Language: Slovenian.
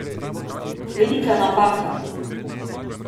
Velika napaka.